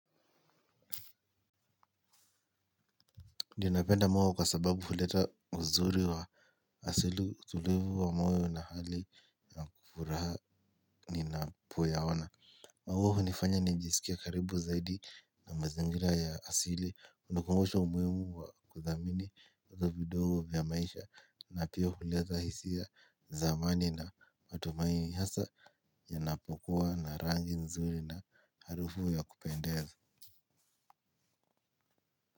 Ninapenda muwa kwa sababu huleta uzuri wa asili tulivu wa moyo na hali ya furaha ninapoya maua hunifanya nijisikie karibu zaidi na mazingira ya asili hunikumbusha umuhimu wa kudhamini vitu vidogo vya maisha na pia huleta hisia zamani na matumaini hasa inapokua na rangi nzuri na harufu ya kupendeza.